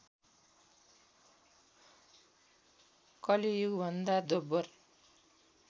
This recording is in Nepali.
कलि युगभन्दा दोब्बर